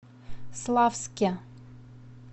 славске